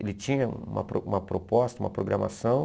Ele tinha uma pro uma proposta, uma programação.